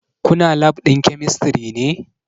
Kuna lab ɗin kemistri ne?